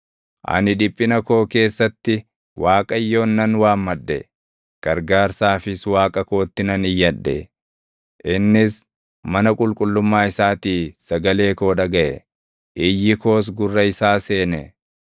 Ani dhiphina koo keessatti Waaqayyoon nan waammadhe; gargaarsaafis Waaqa kootti nan iyyadhe. Innis mana qulqullummaa isaatii sagalee koo dhagaʼe; iyyi koos gurra isaa seene.